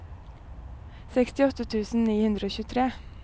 sekstiåtte tusen ni hundre og tjuetre